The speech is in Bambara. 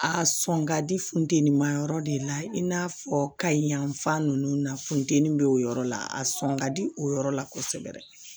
A sɔn ka di funteni ma yɔrɔ de la i n'a fɔ kayi yan fan ninnu na funteni bɛ o yɔrɔ la a sɔn ka di o yɔrɔ la kosɛbɛ